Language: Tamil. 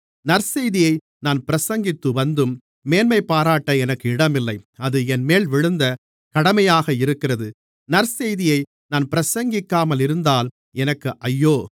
நற்செய்தியை நான் பிரசங்கித்துவந்தும் மேன்மைப்பாராட்ட எனக்கு இடமில்லை அது என்மேல் விழுந்த கடமையாக இருக்கிறது நற்செய்தியை நான் பிரசங்கிக்காமல் இருந்தால் எனக்கு ஐயோ